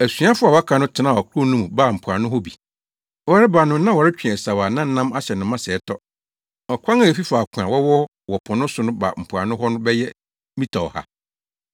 Asuafo a wɔaka no tenaa ɔkorow no mu baa mpoano hɔ bi. Wɔreba no na wɔretwe asau a na nam ahyɛ no ma sɛɛ tɔ. Ɔkwan a efi faako a wɔwɔ wɔ po no so ba mpoano hɔ no bɛyɛ mita ɔha.